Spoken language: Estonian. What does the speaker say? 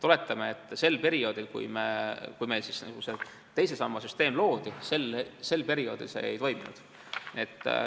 Oletame, et sel perioodil, kui meil loodi teise samba süsteem, see ei toiminud.